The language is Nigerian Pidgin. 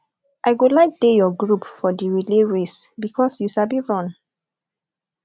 i go like dey your group for di relay race because you sabi run